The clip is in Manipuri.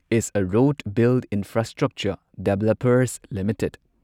is a road build infrastructure developers limited